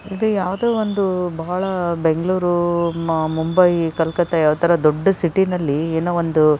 ಇದು ಯಾವ್ದೋ ಒಂದು ಬಹಳ ಬೆಂಗಳೂರ್ ಮುಂಬೈ ಕಲ್ಕತ್ತಾ ಯಾವತರ ದೊಡ್ಡ್ ಸಿಟಿ ಯಲ್ಲಿ ಏನೋ ಒಂದು --